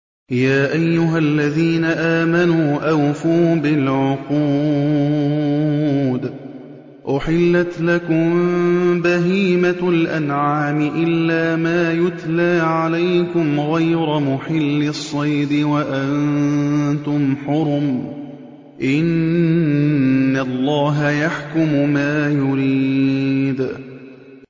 يَا أَيُّهَا الَّذِينَ آمَنُوا أَوْفُوا بِالْعُقُودِ ۚ أُحِلَّتْ لَكُم بَهِيمَةُ الْأَنْعَامِ إِلَّا مَا يُتْلَىٰ عَلَيْكُمْ غَيْرَ مُحِلِّي الصَّيْدِ وَأَنتُمْ حُرُمٌ ۗ إِنَّ اللَّهَ يَحْكُمُ مَا يُرِيدُ